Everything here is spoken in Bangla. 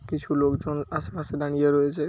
কিছু লোকজন আশেপাশে দাড়িয়ে রয়েছে।